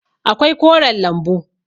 akwai koren lambu